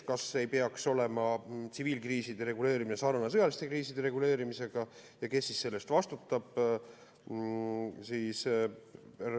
Kas ei peaks tsiviilkriiside reguleerimine olema sarnane sõjaliste kriiside reguleerimisega ja kes selle eest vastutab?